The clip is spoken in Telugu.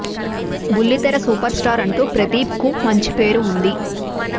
బుల్లి తెర సూపర్ స్టార్ అంటూ ప్రదీప్ కు మంచి పేరు ఉంది